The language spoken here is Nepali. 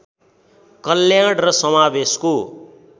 कल्याण र समावेशको